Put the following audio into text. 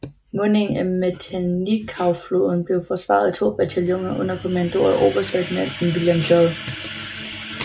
Mundingen af Matanikaufloden blev forsvaret af to bataljoner under kommando af oberstløjtnant William J